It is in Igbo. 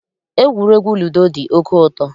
Egwuregwu ludo dị oké ụtọ.